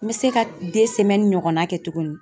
N bɛ se ka ɲɔgɔnna kɛ tuguni.